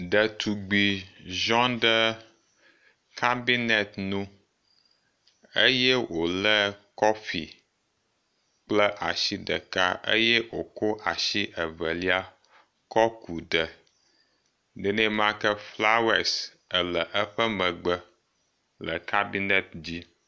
Ɖetugbi ziɔ ɖe kambinet nu eye wole kɔfi kple asi ɖeka eye woko asi evelia kɔ ku ɖe nenema ke flawesi le eƒe megbe le kambinet dzi.